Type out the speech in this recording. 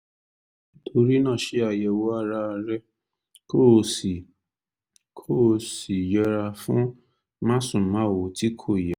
nítorí náà ṣe àyẹ̀wò ara rẹ kó o sì kó o sì yẹra fún másùnmáwo tí kò yẹ